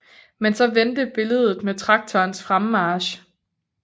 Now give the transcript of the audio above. Men så vendte billedet med traktorens fremmarch